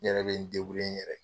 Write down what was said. N yɛrɛ bɛ n n yɛrɛ ye.